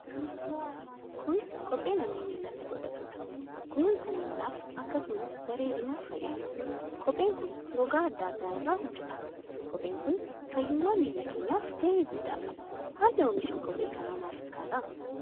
Kun kophee namni millatti godhatudha. Kunuunsa millaaf akkasumas bareedinaaf fayyada. Kopheen kun gogaa adda adda irraa hojjetama. Kopheen kun fayyummaa milla keenyaf gahee guddaa qaba. Haalli omisha kophee kana maal fakkaata?